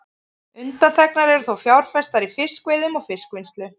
Undanþegnar eru þó fjárfestingar í fiskveiðum og fiskvinnslu.